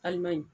Alimɛɲi